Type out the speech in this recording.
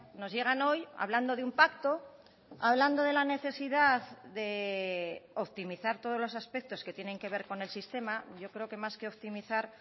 nos llegan hoy hablando de un pacto hablando de la necesidad de optimizar todos los aspectos que tienen que ver con el sistema yo creo que más que optimizar